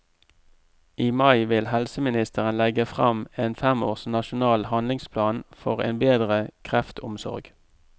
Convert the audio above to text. I mai vil helseministeren legge frem en fem års nasjonal handlingsplan for en bedre kreftomsorg.